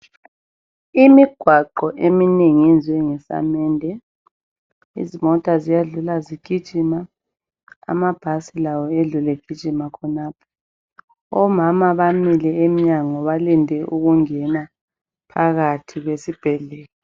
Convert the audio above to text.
Imigwaqo eminengi yenziwe ngesamende. Izimota ziyadlula zigijima amabhasi lawo edlule egijima khonapho. Omama bamile emnyango balinde ukungena phakathi esibhedlela.